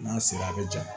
N'a sera a bi ja